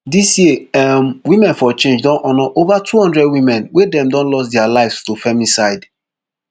dis year um women for change don honour ova two hundred women wey dem don lost dia lives to femicide